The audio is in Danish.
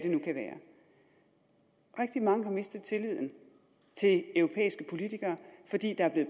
rigtig mange der har mistet tilliden til europæiske politikere fordi der er blevet